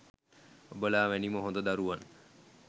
ඔබලා වැනිම හොඳ දරුවන්